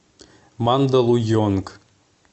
мандалуйонг